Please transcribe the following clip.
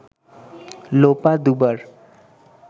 লোপা দুবার